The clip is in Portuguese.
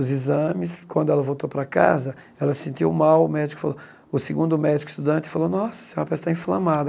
Os exames, quando ela voltou para casa, ela se sentiu mal, o médico falou, o segundo médico estudante falou, nossa, a senhora parece estar inflamada.